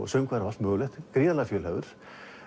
söngvari og allt mögulegt gríðarlega fjölhæfur